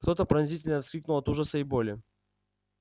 кто то пронзительно вскрикнул от ужаса и боли